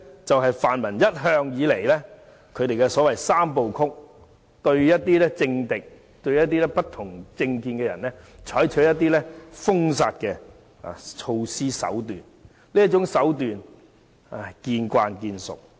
這是泛民一向的"三部曲"，對政敵、不同政見的人採取封殺手段，這種手段我們已經司空見慣。